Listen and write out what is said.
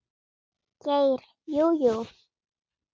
Geir Jú, jú.